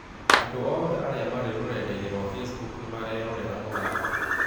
andũ othe arĩa marĩ rũrenda-inĩ rwa facebook nĩ marerorera mũthako